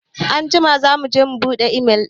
Anjima za mu je mu buɗe imel ɗin.